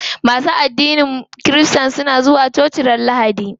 Masu addinin kirista na zuwa coci ranar lahadi.